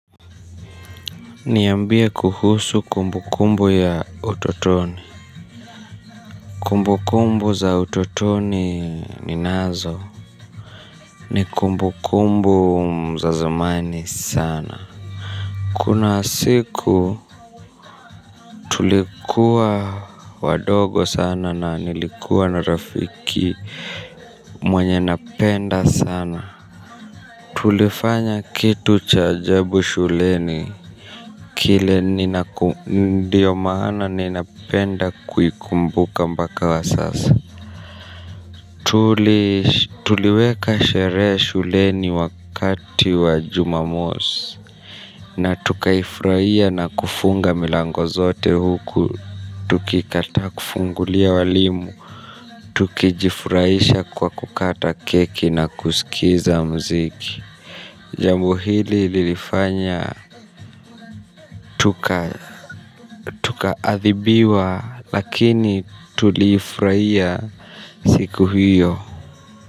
Niambie kuhusu kumbu kumbu ya utotoni kumbukumbu za utotoni ninazo. Ni kumbu kumbu za zamani sana kuna siku tulikuwa wadogo sana na nilikuwa na rafiki mwenye napenda sana tulifanya kitu cha ajabu shuleni. Kile nindio maana ninapenda kuikumbuka mbaka wa sasa. Tuliweka sherehe shuleni wakati wa jumamosi na tukaifraia na kufunga milango zote huku tukikata kufungulia walimu tukijifraisha kwa kukata keki na kusikiza mziki. Jambo hili lilifanya tuka adhibiwa. Lakini tuli Fraia Siku hiyo.